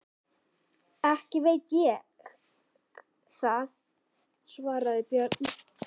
Ekki veit ég það, svaraði Björn.